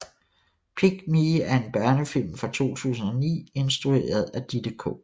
Pig Me er en børnefilm fra 2009 instrueret af Ditte K